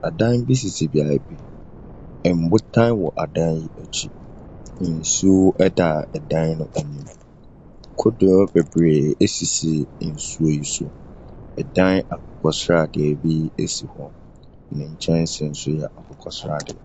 Adan bi sisi beaeɛ bi. Mbotan bi wɔ adan bi akyi. Nsuo da adan no anim. Kodoɔ bebree esisi nsuo yi so. Ɛdan akokɔ sradeɛ bi si hɔ. Ne nkyɛnsee nso yɛ akokɔsradeɛ.